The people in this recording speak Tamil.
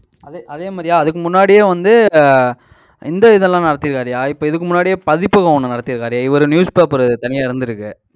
அதே அதே மாதிரியா அதுக்கு முன்னாடியே வந்து, ஆஹ் இந்த இதெல்லாம் நடத்திருக்காருய்யா. இப்ப இதுக்கு முன்னாடியே, பதிப்பகம் ஒண்ணு நடத்தி இருக்காரு. இவரு newspaper தனியா இருந்திருக்கு.